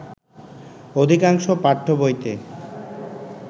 অধিকাংশ পাঠ্যবইতে